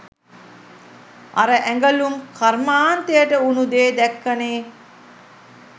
අර ඇඟලුම් කර්මාන්තයට උනු දේ දැක්කනේ.